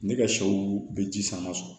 Ne ka sɛw bɛ ji sama